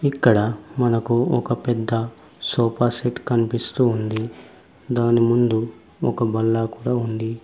ఇక్కడ మనకు ఒక పెద్ద సోఫాసెట్ కనిపిస్తూ ఉంది దాని ముందు ఒక బల్ల కూడా ఉంది.